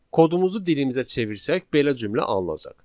Kodumuzu dilimizə çevirsək belə cümlə alınacaq.